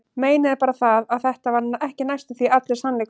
Meinið er bara það, að þetta var ekki næstum því allur sannleikurinn.